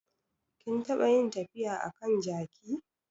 Kin taɓa yin tafiya a kan jaki?